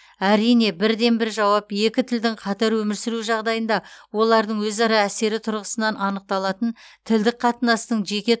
әрине бірден бір жауап екі тілдің қатар өмір сүруі жағдайында олардың өзара әсері тұрғысынан анықталатын тілдік қатынастың жеке